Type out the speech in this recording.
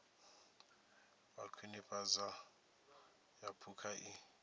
wa khwinifhadzo ya phukha i